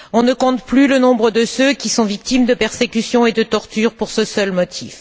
On ne compte plus le nombre de ceux qui sont victimes de persécutions et de tortures pour ce seul motif.